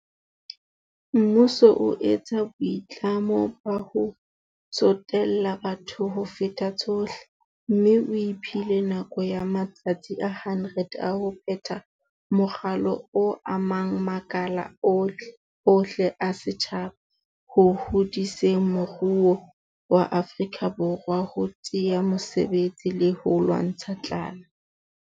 Mmuso o etsa boitlamo ba ho tsotella batho ho feta tsohle, mme o iphile nako ya matsatsi a 100 a ho phetha moralo o amang makala ohle a setjhaba ho hodiseng moruo wa Afrika Borwa, ho thea mesebetsi le ho lwantsha tlala.